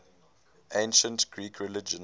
ancient greek religion